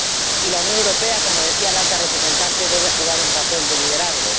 Y la Unión Europea, como decía la Alta Representante, debe jugar un papel de liderazgo.